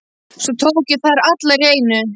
Svo tók ég þær allar í einu.